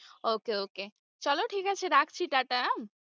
Okay okay চলো ঠিক আছে রাখছি টাটা উম।